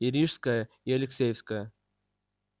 и рижская и алексеевская